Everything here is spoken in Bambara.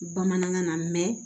Bamanankan na